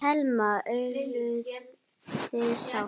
Telma: Eruð þið sátt?